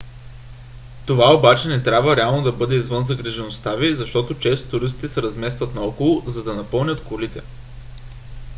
това обаче не трябва реално да бъде извън загрижеността ви защото често туристите се разместват наоколо за да напълнят колите